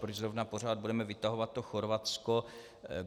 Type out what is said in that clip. Proč zrovna pořád budeme vytahovat to Chorvatsko.